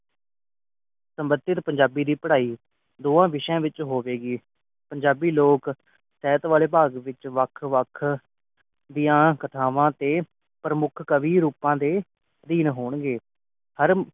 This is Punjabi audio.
ਸੰਬੰਧਿਤ ਪੰਜਾਬੀ ਦੀ ਪੜ੍ਹਾਈ ਦੋਵਾਂ ਵਿਸਿਆਂ ਵਿਚ ਹੋਵੇਗੀ ਪੰਜਾਬੀ ਲੋਕ ਸਿਹਤ ਵਾਲੇ ਭਾਗ ਵਿਚ ਵੱਖ ਵੱਖ ਦੀਆ ਕਥਾਵਾਂ ਅਤੇ ਪ੍ਰਮੁੱਖ ਕਵੀ ਰੂਪਾਂ ਦੇ ਅਧੀਨ ਹੋਣਗੇ